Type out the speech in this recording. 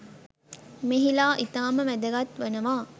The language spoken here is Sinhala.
මෙහිලා ඉතාම වැදගත් වනවා.